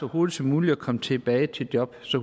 hurtigt som muligt og kommer tilbage til jobbet så